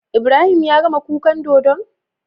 Ibrahim yagama kukan dodon?